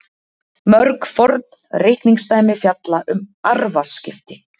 Mörg forn reikningsdæmi fjalla um arfaskipti.